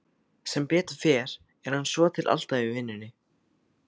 Sem betur fer er hann svotil alltaf í vinnunni.